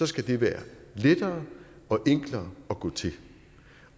skal det være lettere og enklere at gå til